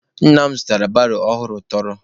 Nna m zụrụ baro ọhụrụ tọrọ